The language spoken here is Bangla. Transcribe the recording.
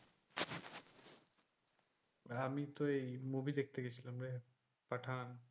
আমিতো এই movie দেখতে গেছিলাম রে পাঠান।